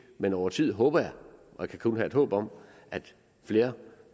men over tid håber jeg og det kan jeg et håb om at flere